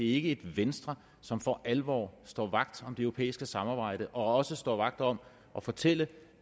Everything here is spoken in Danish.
ikke et venstre som for alvor står vagt om det europæiske samarbejde og står vagt om at fortælle